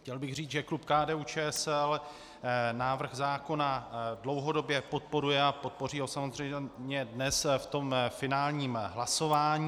Chtěl bych říct, že klub KDU-ČSL návrh zákona dlouhodobě podporuje a podpoří ho samozřejmě dnes v tom finálním hlasování.